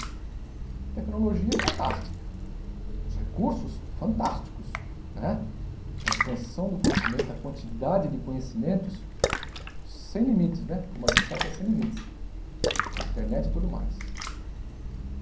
A tecnologia é fantástica, os recursos fantásticos né, a expansão do conhecimento, a quantidade de conhecimentos sem limites né, como a gente sabe que é sem limites, com internet e tudo mais.